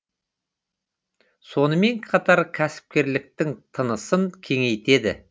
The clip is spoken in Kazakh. сонымен қатар кәсіпкерліктің тынысын кеңейтеді